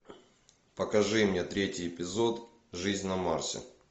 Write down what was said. покажи мне третий эпизод жизнь на марсе